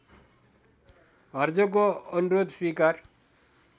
हर्जोगको अनुरोध स्वीकार